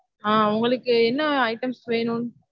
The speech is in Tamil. ஹம் உங்களுக்கு என்ன items வேணும்